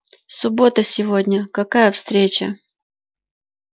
суббота сегодня какая встреча